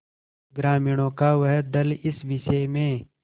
ग्रामीणों का वह दल इस विषय में